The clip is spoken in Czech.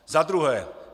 Za druhé.